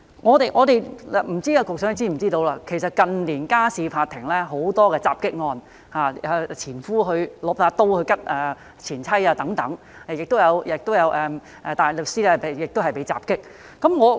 我不知道局長是否知悉，近年家事法庭有很多襲擊案，如前夫刀刺前妻等，也有大律師被襲擊。